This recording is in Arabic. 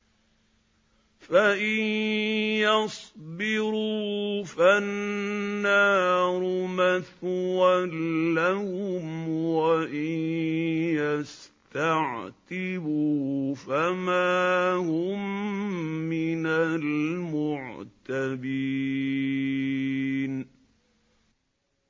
فَإِن يَصْبِرُوا فَالنَّارُ مَثْوًى لَّهُمْ ۖ وَإِن يَسْتَعْتِبُوا فَمَا هُم مِّنَ الْمُعْتَبِينَ